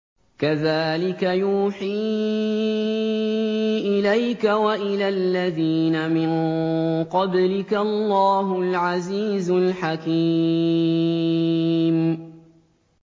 كَذَٰلِكَ يُوحِي إِلَيْكَ وَإِلَى الَّذِينَ مِن قَبْلِكَ اللَّهُ الْعَزِيزُ الْحَكِيمُ